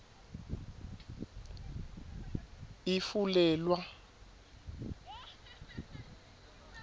ifulelwa